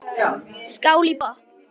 Skál í botn!